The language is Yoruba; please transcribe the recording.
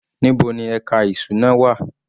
Níbo ni ẹka ìṣúná wà?